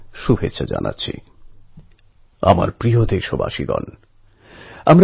সেই পরিস্থিতিতে এই সাফল্যের জন্য আমি আশারামকে অভিনন্দন জানাই